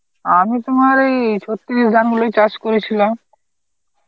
আমি তোমার ওই ছত্রিশ ধান গুলোই চাষ করেছিলাম.